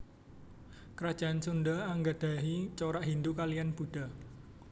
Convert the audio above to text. Kerajaan Sunda anggadhahi corak Hindhu kaliyan Buddha